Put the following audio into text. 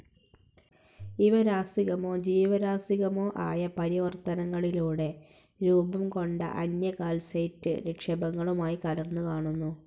ഇവ രാസികമോ ജീവരാസികമോആയ പരിവർത്തനങ്ങളിലൂടെ രൂപംകൊണ്ട അന്യ കാൽസൈറ്റ്‌ നിക്ഷേപങ്ങളുമായി കലർന്നുകാണുന്നു.